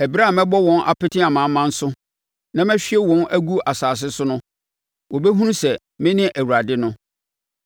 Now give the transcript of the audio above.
“Ɛberɛ a mabɔ wɔn apete amanaman so, na mahwete wɔn agu nsase so no, wɔbɛhunu sɛ me ne Awurade no.